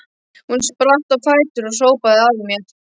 Hún spratt á fætur og hrópaði að mér